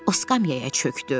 O skamyaya çökdü.